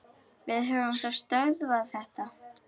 Við höfum þá stöðvað þetta.